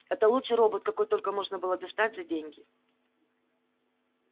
это лучший робот какой только можно было достать за деньги